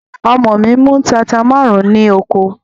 Ọmọ mi mú tata márùn-ún ní oko.